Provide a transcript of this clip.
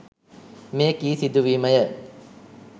මෙ කී සිදුවීමය